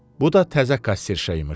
Bu da təzə kasserşa imiş.